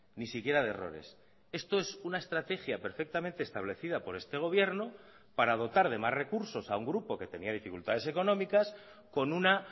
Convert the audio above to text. ni siquiera de errores esto es una estrategia perfectamente establecida por este gobierno para dotar de más recursos a un grupo que tenía dificultades económicas con una